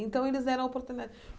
Então eles deram a oportunidade.